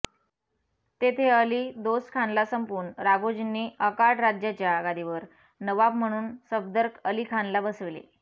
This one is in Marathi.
तेथे अली दोस्त खानला संपवून राघोजींनी अर्काट राज्याच्या गादीवर नवाब म्हणून सफदर अली खानला बसविले